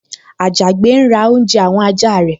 Àjàgbé ń ra oúnjẹ àwọn ẹja rẹ̀